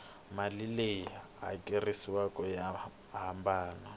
mali leyi hakeriwaku ya hambana